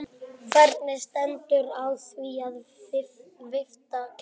Hvernig stendur á því að vifta kælir?